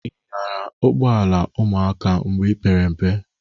I nyara ụgbụọala ụmụaka mgbe ipere mpe?